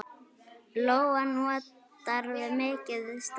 Lóa: Notarðu mikið strætó?